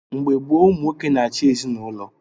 Mgbe gboo, ụmụ nwoke na-achị ezinaụlọ.